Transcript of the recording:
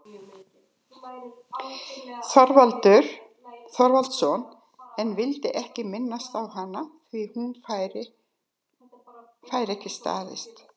Þorvaldsson, en vildi ekki minnast á hana, því hún fær ekki staðist.